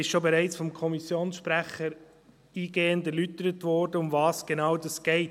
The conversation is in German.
Vom Kommissionssprecher wurde bereits eingehend erläutert, worum es genau geht.